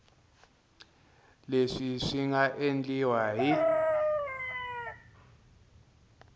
leswi swi nga endliwa hi